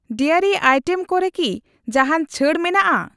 Dairy item ᱠᱚ ᱨᱮ ᱠᱤ ᱡᱟᱦᱟᱱ ᱪᱷᱟᱹᱲ ᱢᱮᱱᱟᱜᱼᱟ ?